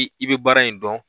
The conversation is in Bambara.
I bɛ baara in dɔn